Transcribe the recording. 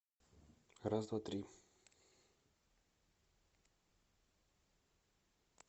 раз два три